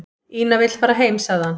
"""Ína vill fara heim, sagði hann."""